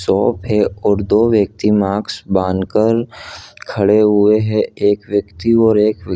shop है और दो व्यक्ति मास्क बांधकर खड़े हुए हैं एक व्यक्ति और एक व्यक्ति --